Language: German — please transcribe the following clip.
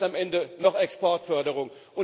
Vielleicht am Ende noch Exportförderung.